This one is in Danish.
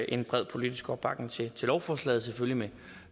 en bred politisk opbakning til lovforslaget selvfølgelig med